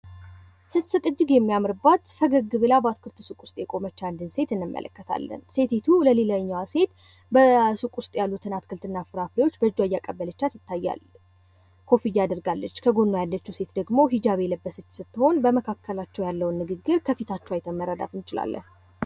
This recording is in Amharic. ስትስቅ እጅግ የሚያምርባት ፈገግ ብላ በአትክልት ሱቅ ውስጥ የቆመች አንዲት ሴት እንመለከታለን። ሴቲቱ ሌላኛዋ ሴት በሱቁ ውስጥ ያሉትን አትክልትና ፍራፍሬዎች በእጇ ያቀበለቻት ይታያል። ኮፊያ አድርጋለች ከጎኗ ያለችው ሴት ደግሞ ሂጃብ የለበሰች ስትሆን፤ በመካከላቸው ያለውን ንግግር ከፊታቸው አይተን መረዳት እንችላለን።